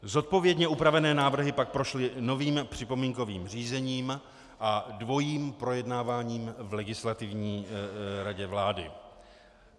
Zodpovědně upravené návrhy pak prošly novým připomínkovým řízením a dvojím projednáváním v Legislativní radě vlády.